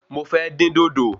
Mo fẹ́ dín dòdò